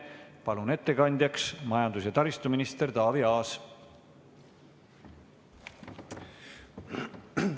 Palun ettekandjaks majandus- ja taristuminister Taavi Aasa!